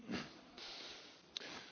Tisztelt hölgyeim és uraim!